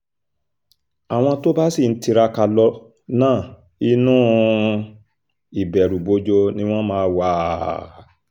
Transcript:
àwọn tó bá sì ń tiraka lọ náà inú um ìbẹ̀rùbojo ni wọ́n máa wá um